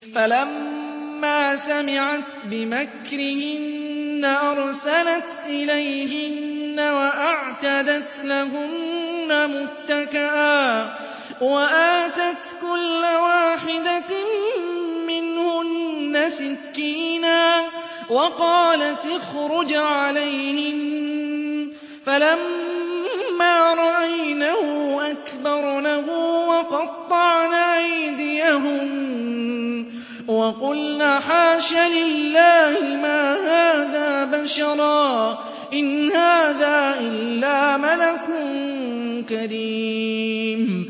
فَلَمَّا سَمِعَتْ بِمَكْرِهِنَّ أَرْسَلَتْ إِلَيْهِنَّ وَأَعْتَدَتْ لَهُنَّ مُتَّكَأً وَآتَتْ كُلَّ وَاحِدَةٍ مِّنْهُنَّ سِكِّينًا وَقَالَتِ اخْرُجْ عَلَيْهِنَّ ۖ فَلَمَّا رَأَيْنَهُ أَكْبَرْنَهُ وَقَطَّعْنَ أَيْدِيَهُنَّ وَقُلْنَ حَاشَ لِلَّهِ مَا هَٰذَا بَشَرًا إِنْ هَٰذَا إِلَّا مَلَكٌ كَرِيمٌ